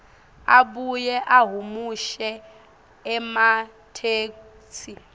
abuye ahumushe ematheksthi